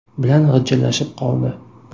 bilan g‘ijillashib qoldi.